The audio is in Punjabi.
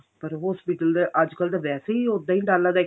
ਪਰ hospital ਤੇ ਅੱਜ ਕੱਲ ਤਾਂ ਵੈਸੇ ਹੀ ਉਦਾਂ ਹੀ ਡਰ ਲੱਗਦਾ